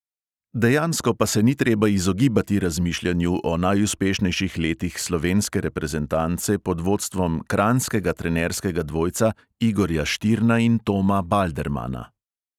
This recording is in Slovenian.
Dejansko pa se ni treba izogibati razmišljanju o najuspešnejših letih slovenske reprezentance pod vodstvom kranjskega trenerskega dvojca igorja štirna in toma baldermana.